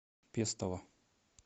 пестово